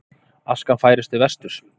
Askan færist til vesturs